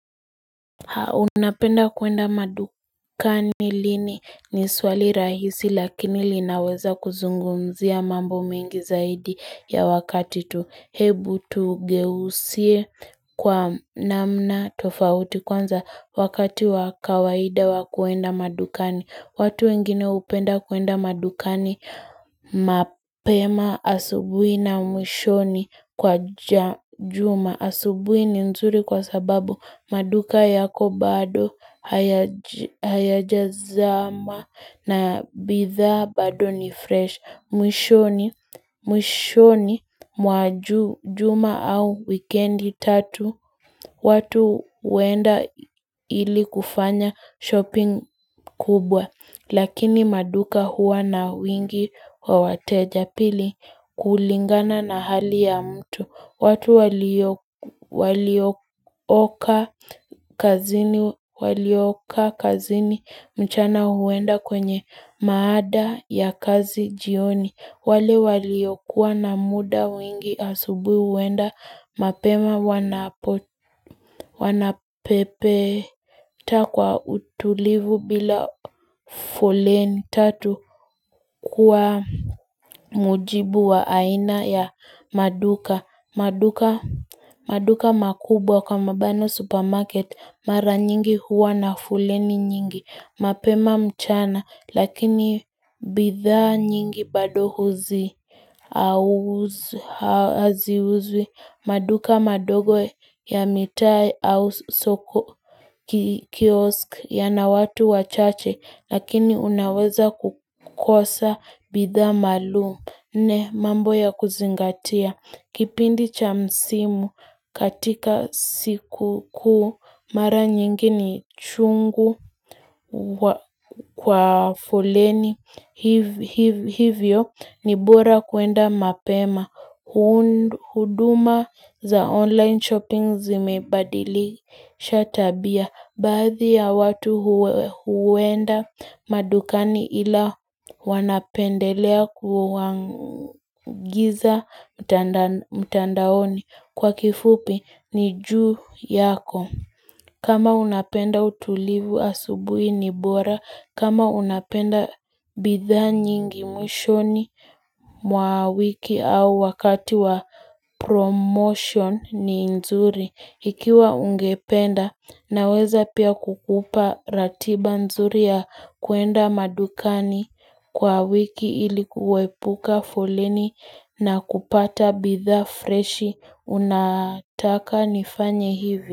Unapenda kuenda madukani lini ni swali rahisi lakini linaweza kuzungumzia mambo mengi zaidi ya wakati tu hebu tugeusie kwa namna tofauti kwanza wakati wakawaida wakuenda madukani. Watu wengine hupenda kuenda madukani mapema asubuhii na mwishoni kwa ja juma asubuhi ni nzuri kwa sababu maduka yako bado haya hayajazama na bidhaa bado ni fresh. Mwishoni, mwishoni mwaju, juma au wikendi tatu, watu huenda ii ili kufanya shopping kubwa, lakini maduka huwa na wingi wa wateja. Pili kulingana na hali ya mtu. Watu walio walio oka kazini walioka kazini mchana huenda kwenye maada ya kazi jioni. Wale waliokuwa na muda wengi asubuhi huenda mapema wanapo wanapepe ta kwa utulivu bila foleni tatu kuwa mujibu wa aina ya maduka. Maduka maduka makubwa kwa mabano supermarket, mara nyingi huwa na foleni nyingi, mapema mchana, lakini bidhaa nyingi bado huzi, hauuzw, haziuzwi maduka madogo ya mitai au soko kii kiosk ya na watu wachache, lakini unaweza kukosa bidhaa maalum. Nne mambo ya kuzingatia Kipindi cha msimu katika sikukuu mara nyingi ni chungu wa kwa foleni hivyo ni bora kuenda mapema hund huduma za online shopping zimebadili sha tabia. Baadhi ya watu huwenda madukani ila wanapendelea kuwangiza mtandanan mtandaoni kwa kifupi ni juu yako. Kama unapenda utulivu asubuhi ni bora. Kama unapenda bidhaa nyingi mwishoni mwa wiki au wakati wa promotion ni nzuri. Ikiwa ungependa na weza pia kukupa ratiba nzuri ya kuenda madukani kwa wiki ili kuepuka foleni na kupata bidhaa freshi unataka nifanye hivi.